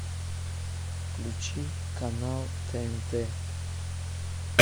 включи канал тнт